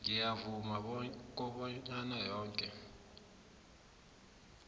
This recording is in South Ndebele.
ngiyavuma kobana yoke